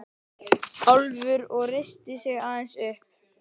Álfur og reisti sig aðeins upp.